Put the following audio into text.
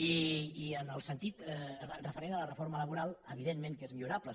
i en el sentit referent a la reforma laboral evidentment que és millorable